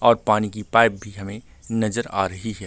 और पानी की पाइप भी हमे नजर आ रही है ।